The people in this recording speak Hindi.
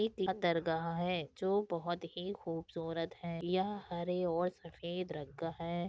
एक लतारगा है जो बहुत ही खूबसूरत है यह हरे और सफेद रंग का है।